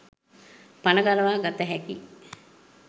පණ ගලවා ගත හැකි